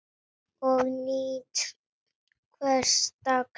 Ég nýt hvers dags.